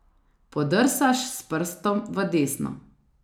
Podrsaš s prstom v desno.